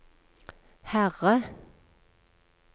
Herre